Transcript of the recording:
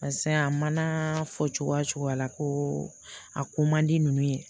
Paseke a mana fɔ cogoya cogo la ko a ko man di ninnu ye